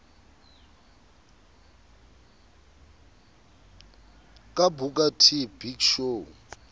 ka booker t big show